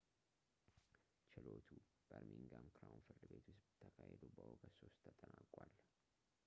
ችሎቱ በርሚንግሃም ክራውን ፍርድ ቤት ውስጥ ተካሂዶ በኦገስት 3 ተጠናቋል